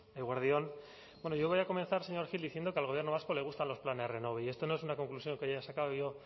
eguerdi on bueno yo voy a comenzar señor gil diciendo que al gobierno vasco le gustan los planes renove y esto no es una conclusión que haya sacado yo